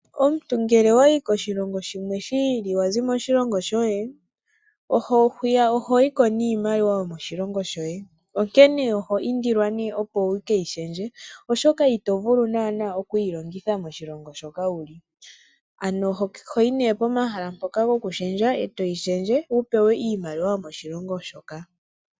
Omuntu ngele owayi koshilongo shimwe shiili wazi moshilongo shoye hwiya oho yiko niimaliwa yokoshilongo shoye onkene nee oho indilwa opo wukeyishendje oshoka itovulu nana okuyilongitha moshilongo ano ohoyi nee pomahala moka gokushendja ee toyi shendje ee topewa iimaliwa yomoshilongo shoka.